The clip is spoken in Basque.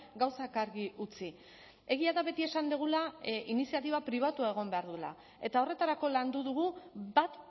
gauzak argi utzi egia da beti esan dugula iniziatiba pribatua egon behar duela eta horretarako landu dugu bat